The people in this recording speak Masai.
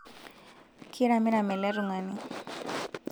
kiramiram ele tungani